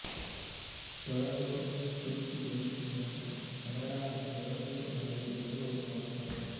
Toronto குறிப்புதவி நூலகம் கனடாவின் டொராண்டோ நகரில் உள்ள ஒரு நூலகம்